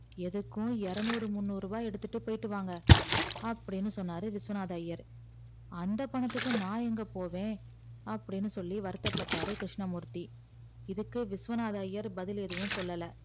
எதுக்கும் எரநூறு முந்நூறு ரூபாய் எடுத்துட்டு போயிட்டு வாங்க அப்படினு சொன்னாரு விஸ்வநாதர் ஐயர் அந்த பணத்துக்கு நான் எங்க போவேன் அப்படினு சொல்லி வருத்த பட்டாரு கிருஸ்னமூர்த்தி இதுக்கு விஸ்வநாதர் ஐயர் பதில் எதுவும் சொல்லல